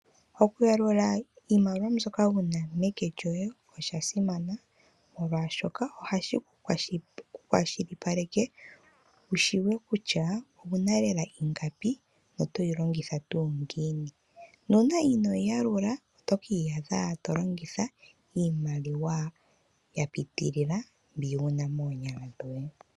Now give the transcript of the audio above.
Oku yalula iimaliwa mbyoka wuna meke lyoye osha simana molwaashoka ohashi ku kwashilipaleke wu shi tseye kutya owu na lela ingapi noto yi longitha tuu ngiini. Nuuna inoo yi yalula oto ki iyadha to longitha iimaliwa ya pitilila mbi wu na moonyala dhoye.